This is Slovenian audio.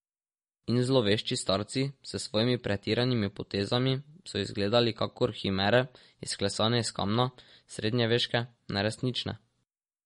In zlovešči starci s svojimi pretiranimi potezami so izgledali kakor himere, izklesane iz kamna, srednjeveške, neresnične.